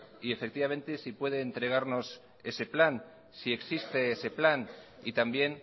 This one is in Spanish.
y si puede entregarnos ese plan si existe ese plan y también